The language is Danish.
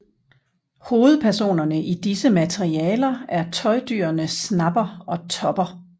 Hovedpersonerne i disse materialer er tøjdyrene Snapper og Topper